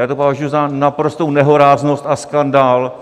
Já to považuji za naprostou nehoráznost a skandál,